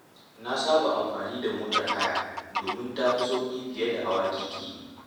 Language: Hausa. Na saba amfani da motar haya domin ta fi sauƙi fiye da hawa keke.